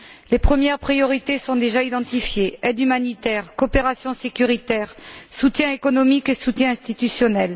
Les premières priorités sont déjà identifiées aide humanitaire, coopération sécuritaire, soutien économique et soutien institutionnel.